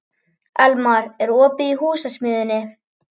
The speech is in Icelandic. Elmar, er opið í Húsasmiðjunni?